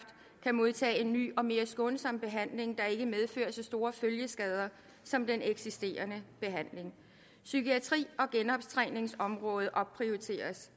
kan modtage en ny og mere skånsom behandling der ikke medfører så store følgeskader som den eksisterende behandling psykiatri og genoptræningsområdet opprioriteres